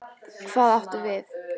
Hvað áttu við?